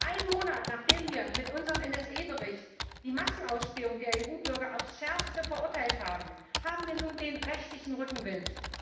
Einen Monat, nachdem wir mit unserem NSA Bericht die Massenausspähung der EU Bürger auf das Schärfste verurteilt haben, haben wir nun den rechtlichen Rückenwind.